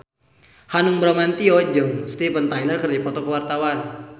Hanung Bramantyo jeung Steven Tyler keur dipoto ku wartawan